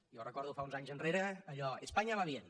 jo recordo fa uns anys enrere allò de españa va bien